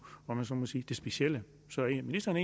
om jeg så må sige det specielle så er ministeren